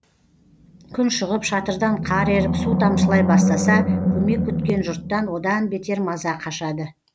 күн шығып шатырдан қар еріп су тамшылай бастаса көмек күткен жұрттан одан бетер маза қашады